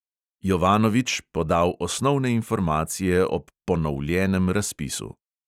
Jovanovič podal osnovne informacije ob "ponovljenem" razpisu.